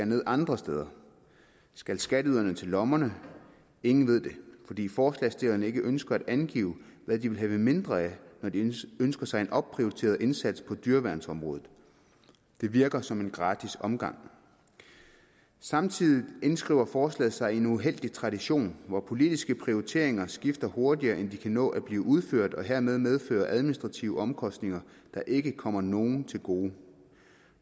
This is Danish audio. ned andre steder skal skatteyderne til lommerne ingen ved det fordi forslagsstillerne ikke ønsker at angive hvad de vil have mindre af når de ønsker sig en opprioriteret indsats på dyreværnsområdet det virker som en gratis omgang samtidig indskriver forslaget sig i en uheldig tradition hvor politiske prioriteringer skifter hurtigere end de kan nå at blive udført og hermed medfører administrative omkostninger der ikke kommer nogen til gode